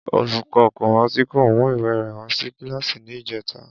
Olùkó̩ kó̩máàsì kò mú ìwé rè̩ wá sí kíláàsì ní ìjé̩ta